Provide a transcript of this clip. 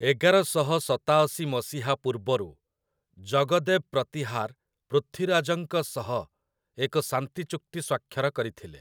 ଏଗାରଶହ ସତାଅଶୀ ମସିହା ପୂର୍ବରୁ ଜଗଦେବ୍ ପ୍ରତିହାର୍ ପୃଥ୍ୱୀରାଜ୍‌ଙ୍କ ସହ ଏକ ଶାନ୍ତି ଚୁକ୍ତି ସ୍ୱାକ୍ଷର କରିଥିଲେ ।